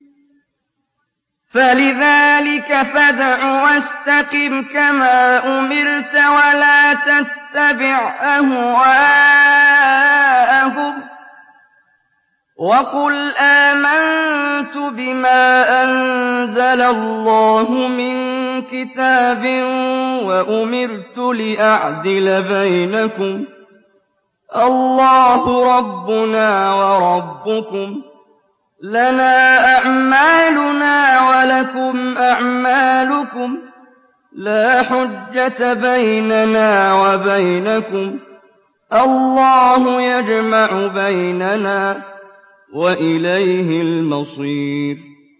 فَلِذَٰلِكَ فَادْعُ ۖ وَاسْتَقِمْ كَمَا أُمِرْتَ ۖ وَلَا تَتَّبِعْ أَهْوَاءَهُمْ ۖ وَقُلْ آمَنتُ بِمَا أَنزَلَ اللَّهُ مِن كِتَابٍ ۖ وَأُمِرْتُ لِأَعْدِلَ بَيْنَكُمُ ۖ اللَّهُ رَبُّنَا وَرَبُّكُمْ ۖ لَنَا أَعْمَالُنَا وَلَكُمْ أَعْمَالُكُمْ ۖ لَا حُجَّةَ بَيْنَنَا وَبَيْنَكُمُ ۖ اللَّهُ يَجْمَعُ بَيْنَنَا ۖ وَإِلَيْهِ الْمَصِيرُ